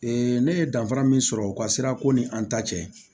ne ye danfara min sɔrɔ u ka sirako ni an ta cɛ